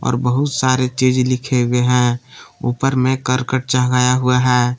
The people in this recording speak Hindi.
और बहुत सारे चीज लिखें हुए हैं ऊपर में करकट चढ़ाया हुआ है।